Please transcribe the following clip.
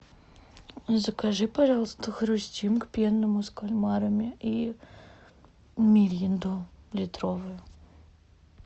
закажи пожалуйста хрустим к пенному с кальмарами и миринду литровую